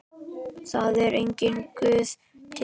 Það er enginn Guð til.